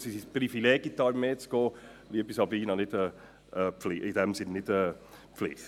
Es ist übrigens ein Privileg, in die Armee einzutreten, liebe Frau Geissbühler, nicht eine Pflicht.